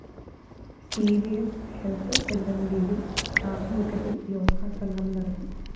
C V സ്‌ health സെന്ററിന്റെയും ആഭിമുഖ്യത്തില്‍ യോഗ സംഗമം നടത്തി